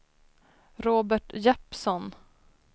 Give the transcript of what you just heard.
Robert Jeppsson